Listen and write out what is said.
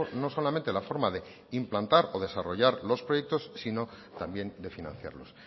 no solamente la forma de implantar o desarrollar los proyectos sino también de financiarlos